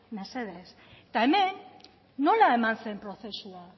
mesedez eta hemen nola eman zen prozesua